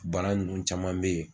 Bana ninnu caman bɛ ye